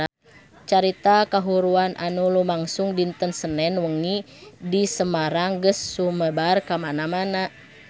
Carita kahuruan anu lumangsung dinten Senen wengi di Semarang geus sumebar kamana-mana